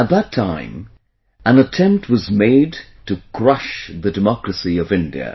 At that time an attempt was made to crush the democracy of India